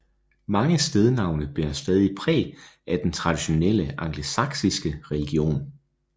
Mange stednavne bærer stadig præg af den traditionelle angelsaksiske religion